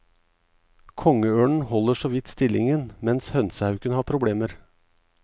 Kongeørnen holder såvidt stillingen, mens hønsehauken har problemer.